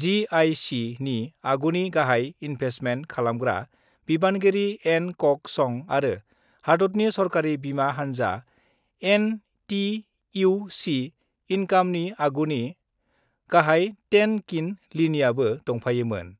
(जिआइसि) नि आगुनि गाहाइ इन्भेस्टमेन्ट खालामग्रा बिबानगिरि एन कक सं आरो हादतनि सरकारि बिमा हान्जा एनटिइउसि इनकामनि आगुनि गाहाय टेन किन लियानआबो दंफायोमोन।